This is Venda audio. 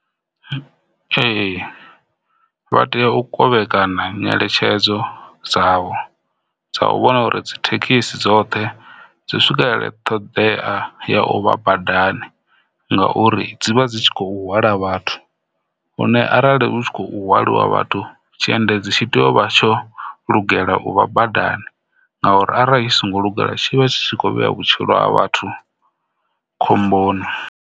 Ee, vha tea u kovhekanya ngeletshedzo dzavho dza u vhona uri thekhisi dzoṱhe dzi swikelele ṱhoḓea dza u vha badani ngauri dzi vha dzi kho hwala vhathu lune arali hu tshi khou hwaliwa vhathu tshiendedzi tshi tea u vha tsho lugela u tshimbila badani ngauri arali tshi songo luga tshi vha tshi kho vhea vhutshilo ha vhathu khomboni.